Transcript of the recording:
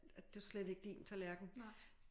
Det jo slet ikke din tallerken